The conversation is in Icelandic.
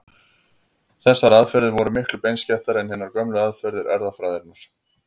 Þessar aðferðir voru miklu beinskeyttari en hinar gömlu aðferðir erfðafræðinnar.